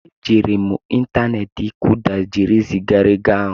E jiiri m ịntaneti Kuda jiri zigaa ego ahụ.